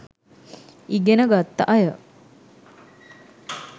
ඉගෙන ගත්ත අය